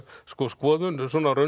sko skoðun svona